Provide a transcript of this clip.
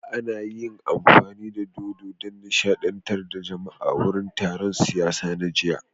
An yi amfani da dodo don nishadantar da jama'a a wurin taron siyasa na jiya